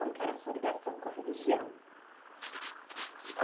Como é que era a sua ligação com a religião?